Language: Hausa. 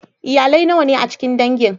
Iyalai nawa ne a cikin dangin?